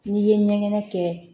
N'i ye ɲɛgɛn kɛ